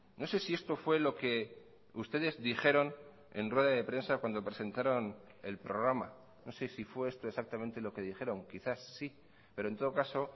no sé si esto fue lo que ustedes dijeron en rueda de prensa cuando presentaron el programa no sé si fue esto exactamente lo que dijeron quizás sí pero en todo caso